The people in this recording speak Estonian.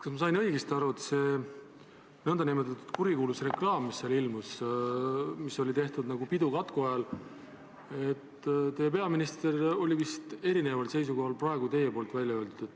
Kas ma sain õigesti aru, et selle nn kurikuulsa reklaami suhtes, mis oli tehtud nagu pidu katku ajal, oli teie peaminister vist erineval seisukohal kui see, mis teie praegu ütlesite?